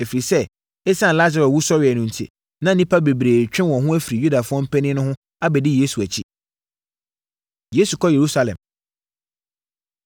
ɛfiri sɛ, ɛsiane Lasaro wusɔreɛ no enti, na nnipa bebree retwe wɔn ho afiri Yudafoɔ mpanin no ho abɛdi Yesu akyi. Yesu Kɔ Yerusalem